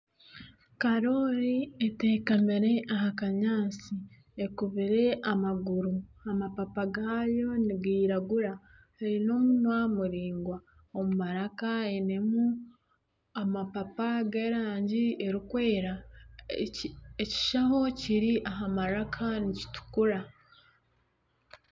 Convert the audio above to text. Karoori etekamire aha kanyaatsi, ekubire amaguru amapapa gaayo nigiragura eine omunwa muraingwa omu maraka einemu amapapa g'erangi erikwera ekishaho ekiri aha maraka nikitukura